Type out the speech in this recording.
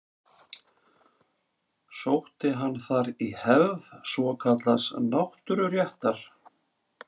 Sótti hann þar í hefð svokallaðs náttúruréttar.